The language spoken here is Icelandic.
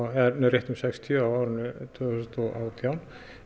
rétt um sextíu árið tvö þúsund og átján